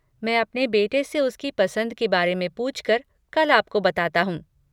मैं अपने बेटे से उसकी पसंद के बारे में पूछकर कल आपको बताता हूँ।